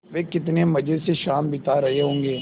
वे कितने मज़े से शाम बिता रहे होंगे